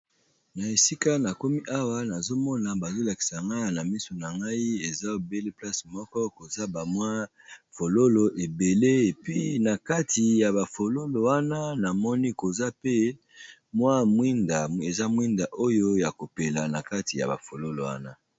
na esika na komi awa nazomona bazolakisa ngaa na miso na ngai eza ebele place moko koza bamwi fololo ebele epi na kati ya bafololo wana namoni koza pe mwa eza mwinda oyo ya kopela na kati ya bafololo wana